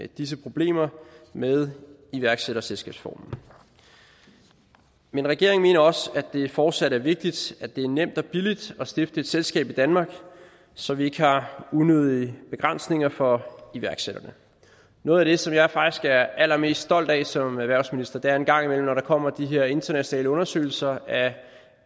disse problemer med iværksætterselskabsformen men regeringen mener også at det fortsat er vigtigt at det er nemt og billigt at stifte et selskab i danmark så vi ikke har unødige begrænsninger for iværksætterne noget af det som jeg faktisk er allermest stolt af som erhvervsminister der en gang imellem kommer de her internationale undersøgelser af